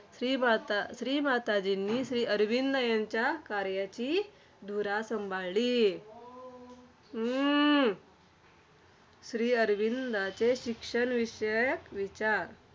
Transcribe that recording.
शिक्षणांना तसेच कोरोणामुळे शिक्षणामध्ये सुद्धा खूप मोठे बदल घडून आले. खरतर शिक्षणामध्ये online हा फरक खूप मोठा जाणून आला.